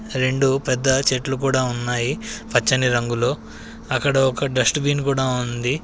రెండు పెద్ద చెట్లు కూడా ఉన్నాయి పచ్చని రంగులో. అక్కడ ఒక డస్ట్బిన్ కూడా ఉంది.